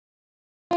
Guðni Oddur Jónsson